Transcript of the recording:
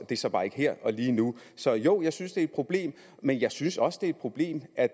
det er så bare ikke her og lige nu så jo jeg synes det er et problem men jeg synes også det er et problem at